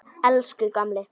Elsku gamli.